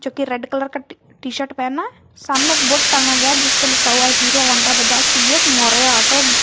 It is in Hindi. जो कि रेड कलर का टी शर्ट पहना है सामने एक बोर्ड टांगा गया जिसपे लिखा हुआ है Hero Honda Bajaj TVS Maurya auto.